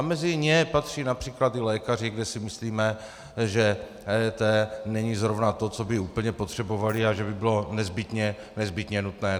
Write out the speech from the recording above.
A mezi ně patří například i lékaři, kde si myslíme, že EET není zrovna to, co by úplně potřebovali a co by bylo nezbytně nutné.